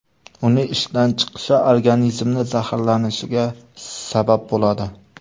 Uning ishdan chiqishi organizmni zaharlanishiga sabab bo‘ladi.